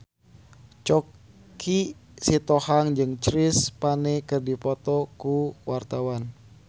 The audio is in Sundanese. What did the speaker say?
Choky Sitohang jeung Chris Pane keur dipoto ku wartawan